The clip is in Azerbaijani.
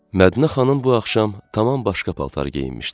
Mədinə xanım bu axşam tamam başqa paltar geyinmişdi.